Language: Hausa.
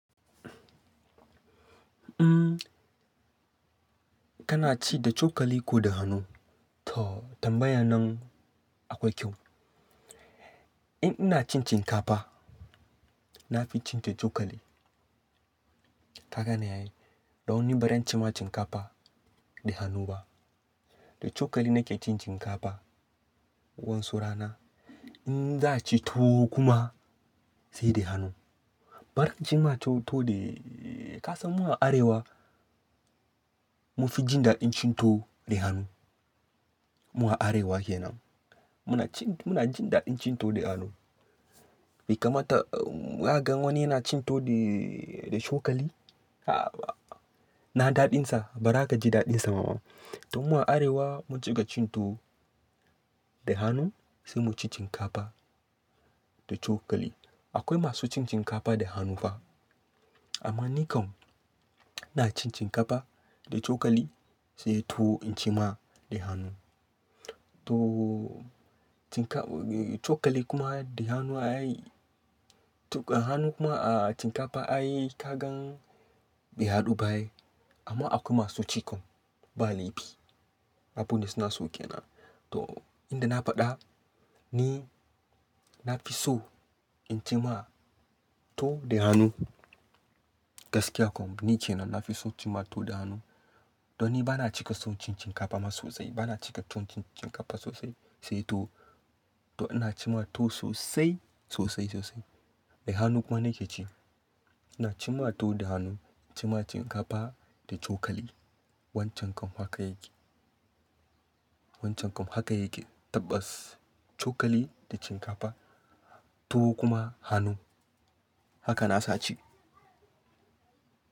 Umm, kana ci da cokali ko da hannu? To tambayan nan akwai kyau. In ina cin shinkafa, na fi cin ta cokali. Ka gane ai dan ni ba zan ci ma shinkafa da hannu ba. Da cokali nake cin shinkafa wasu rana. In za a ci tuwo kuma, sai da hannu. Ba zan ci ma tuwo da-- ka san mu a arewa mu fi jin daɗin cin tuwo da hannu. Mu a arewa kenan muna cin, muna jin daɗin cin tuwo da hannu. Bai kamata ka gan wani yana cin tuwo da, da cokali? Ina daɗin sa? Ba za ka ji daɗin sa ba ma. To mu a arewa mun cika cin tuwo da hannu, sai mu ci shinkafa da cokali. Akwai masu cin shinkafa da hannu fa, amma ni kam ina ci shinkafa da cokali, sai tuwo in ci ma da hannu. To shin ka-- cokali kuma da hannu a yi, tuwo-- hannu kuma a shinkafa a yi ka gan bai haɗu ba ai. Amma akwai masu ci kam, ba laifi. Abun da su na so ke nan. To inda na faɗa, ni, na fi so in ci ma tuwo da hannu. Gaskiya kam ni kenan na fi so ci ma tuwo da hannu. To ni ba na cika son cin shinkafa ma sosai. Ba na cika tuwon cin shinkafa sosai, sai tuwo. To ina cim ma tuwo sosai, sosai, sosai. Da hannu kuma nake ci. Ina ci ma tuwo da hannu, ci ma shinkafa da cokali. Wancan kam haka yake. Wancan kam haka yake. Tabbas cokali da shinkafa, tuwo kuma hannu. Haka na sace.